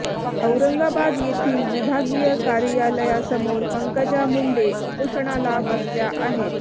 औरंगाबाद येथील विभागीय कार्यालयासमोर पंकजा मुंडे उपोषणाला बसल्या आहेत